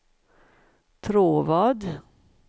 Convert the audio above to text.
Tråvad